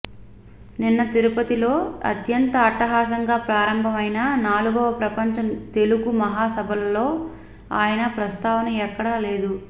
నిన్న తిరుపతిలో అత్యంత అట్టహాసంగా ప్రారంభం అయిన నాలుగవ ప్రపంచ తెలుగు మహా సభల్లో ఆయన ప్రస్తావన ఎక్కడా లేదు